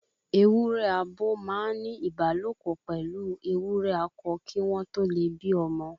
Ewúrẹ abo máa n ni ìbálòpọ̀ pẹlu ewúrẹ akọ kii won to le bí ọmọ